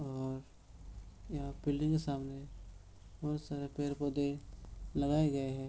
और यहाँ बिल्डिंग के सामने बहुत सारे पेड़-पौधे लगाए गए हैं |